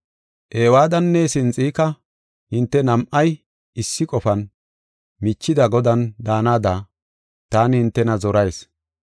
Ewoodanne Sinxika, hinte nam7ay, issi qofan, michida Godan daanada taani hintena zorayis.